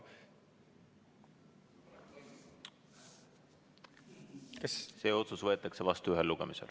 See otsus võetakse vastu ühel lugemisel.